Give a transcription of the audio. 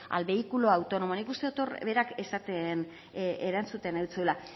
al vehículo autónomo nik uste dut hor berak erantzuten zizula